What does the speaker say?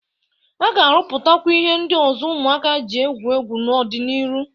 A ga-arụpụtakwa ihe ndị ọzọ ụmụaka jị egwu egwu n'ọ dị n'iru.